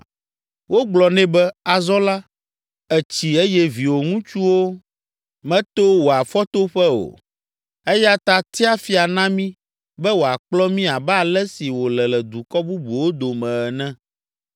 Wogblɔ nɛ be, “Azɔ la ètsi eye viwò ŋutsuwo meto wò afɔtoƒe o, eya ta tia fia na mí be wòakplɔ mí abe ale si wòle le dukɔ bubuwo dome ene.”